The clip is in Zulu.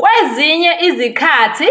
Kwezinye izikhathi,